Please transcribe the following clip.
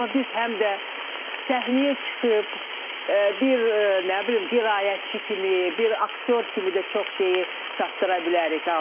Amma biz həm də səhnəyə çıxıb bir nə bilim, qiraətçi kimi, bir aktyor kimi də çox şeyi çatdıra bilərik auditoriyaya.